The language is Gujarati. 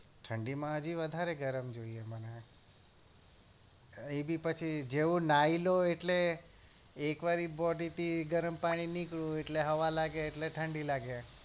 ઠંડી માં હજી વધારે ગરમ જોઈએ મને એ બી પછી જેવું નહાઈ લઉ એટલે એક વાર એ body થી ગરમ પાણી નીકળ્યું એટલે હવા લાગે એટલે ઠંડી લાગે